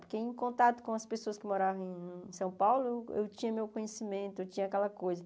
Porque em contato com as pessoas que moravam em São Paulo, eu tinha meu conhecimento, eu tinha aquela coisa.